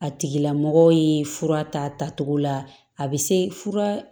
A tigila mɔgɔ ye fura tacogo la a bɛ se fura